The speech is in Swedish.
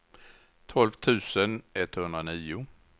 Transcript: tolv tusen etthundranio